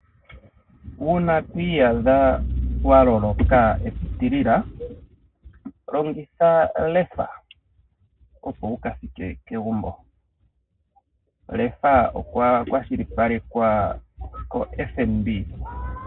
Uuna twi iyadha wa loloka epitilila longitha LEFA opo wuka thike kegumbo. LEFA okwa kwashilipalekwa koFNB.